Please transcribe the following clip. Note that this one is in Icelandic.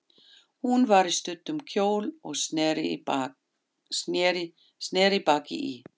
Hún var í stuttum kjól og sneri baki í